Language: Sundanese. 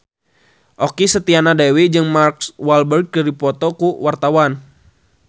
Okky Setiana Dewi jeung Mark Walberg keur dipoto ku wartawan